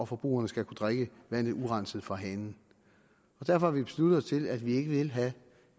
forbrugerne skal kunne drikke vandet urenset fra hanen derfor har vi besluttet os til at vi ikke vil have